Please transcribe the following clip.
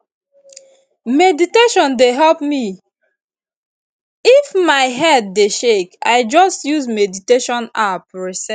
if my head dey shake i just use meditation app reset